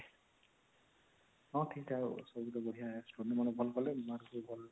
ହଁ ଠିକଠାକ ଆଉ ସବୁଠୁ ବଢିଆ external ମାନେ ଭଲ କଲେ mark ବି ଭଲ